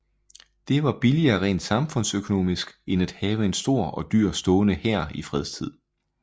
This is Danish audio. Det var billigere rent samfundsøkonomisk end at have en stor og dyr stående hær i fredstid